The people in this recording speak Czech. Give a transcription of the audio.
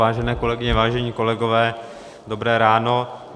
Vážené kolegyně, vážení kolegové, dobré ráno.